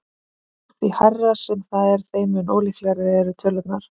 Því hærra sem það er þeim mun ólíkari eru tölurnar.